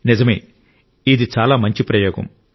నిజమే ఇది చాలా మంచి ప్రయోగం